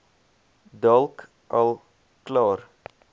dalk al klaar